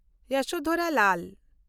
ᱡᱚᱥᱳᱫᱷᱚᱨᱟ ᱞᱟᱞ